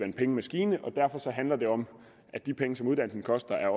en pengemaskine og derfor handler det om at de penge som uddannelsen koster er